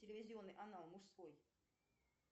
телевизионный канал мужской